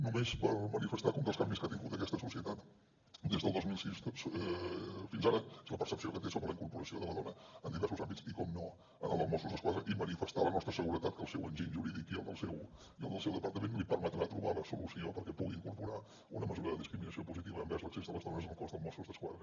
només per manifestar que un dels canvis que ha tingut aquesta societat des del dos mil sis fins ara és la percepció que té sobre la incorporació de la dona en diversos àmbits i com no en el dels mossos d’esquadra i manifestar la nostra seguretat que el seu enginy jurídic i el del seu departament li permetrà trobar la solució perquè pugui incorporar una mesura de discriminació positiva envers l’accés de les dones al cos de mossos d’esquadra